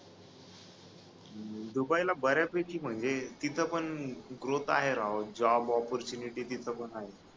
Dubai ला ब-यापैकी म्हणजे तिथ पण ग्रोथ आहे राव जॉब ऑप्पर्टयुनिटी तिथे पण आहे